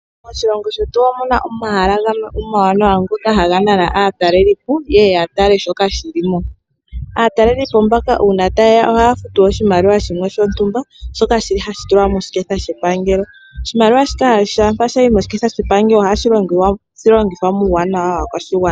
Moshilongo shetu omuna omahala gamwe amawanawa ngoka haga nana aatalelipo yeye yatale shoka shili mo. Aatalelipo mbaka uuna tayeya ohaya futu oshimaliwa shimwe shontumba shoka shili hashi tulwa moshiketha shepangelo. Oshimaliwa shika shampa shayi moshiketha shepangelo ohashi longithwa muuwanwa waakwashigwana.